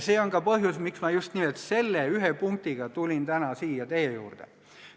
See on ka põhjus, miks ma just nimelt selle ühe punktiga tulin täna siia teie juurde.